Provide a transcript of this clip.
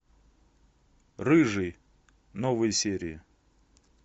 рыжий новые серии